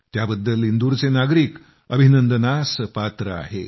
त्याबद्दल इंदूरचे नागरिक अभिनंदनास पात्र आहेत